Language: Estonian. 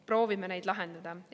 Proovime neid lahendada.